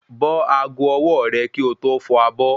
Bọ́ ago ọwọ́ọ̀rẹ̀ kí o tó fọ abọ́